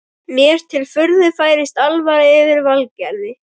Mér til furðu færist alvara yfir Valgarð.